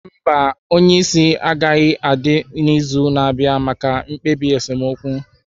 Mba, onye isi agaghị adị n'izu na-abịa maka mkpebi esemokwu